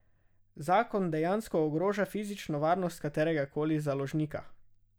Zakon dejansko ogroža fizično varnost katerega koli založnika.